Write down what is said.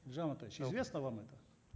елжан амантаевич известно вам это